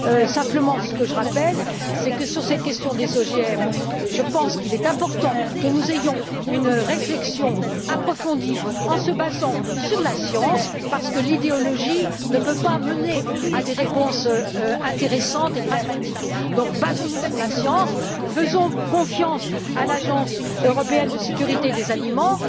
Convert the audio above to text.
Je me contenterai de rappeler que sur cette question des OGM, je pense qu'il est important que nous ayons une réflexion approfondie fondée sur la science, parce que l'idéologie ne peut pas mener à des réponses intéressantes et pragmatiques. Basons nous donc sur la science, faisons confiance à l'Autorité européenne de sécurité des aliments,